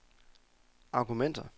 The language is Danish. argumenter